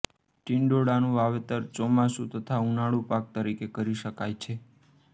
ટિંડોળાનું વાવેતર ચોમાસુ તથા ઉનાળુ પાક તરીકે કરી શકાય છે